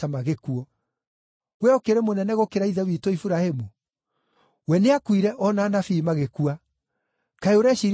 Wee ũkĩrĩ mũnene gũkĩra ithe witũ Iburahĩmu? We nĩakuire o na anabii magĩkua. Kaĩ ũreciiria we ũrĩ ũ?”